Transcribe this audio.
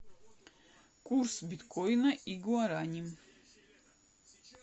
курс биткоина и гуарани